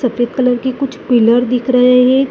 सफेद कलर के कुछ पीलर दिख रहे हैं।